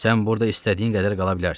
Sən burda istədiyin qədər qala bilərsən.